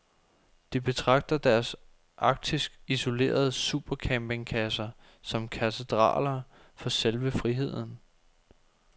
De betragter deres arktisk isolerede supercampingkasser som katedraler for selve friheden.